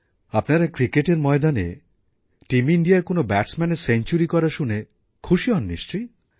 আপনারা ক্রিকেটের ময়দানে টীম ইণ্ডিয়ার কোনও ব্যাটসম্যানের সেঞ্চুরি করা শুনে খুশি হন নিশ্চয়ই